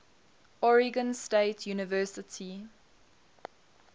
oregon state university